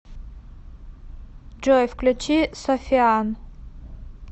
джой включи софиан